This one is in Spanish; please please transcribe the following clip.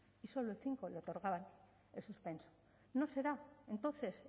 y solo el cinco le otorgaba el suspenso no será entonces